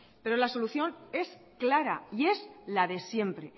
pero la solución es clara y es la de siempre